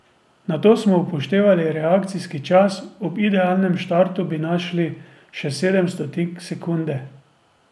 Nato smo upoštevali reakcijski čas, ob idealnem štartu bi našli še sedem stotink sekunde.